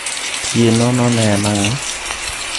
Tie nono ne en ang'o?